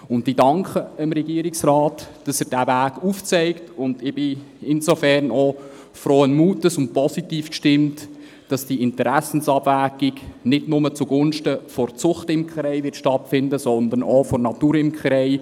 Ich danke dem Regierungsrat, dass er diesen Weg aufzeigt, und ich bin insofern auch frohen Mutes und positiv gestimmt, dass diese Interessenabwägung nicht nur zugunsten der Zuchtimkerei stattfinden wird, sondern auch zugunsten der Naturimkerei.